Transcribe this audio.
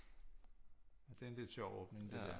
Det er en lidt sjov åbning det der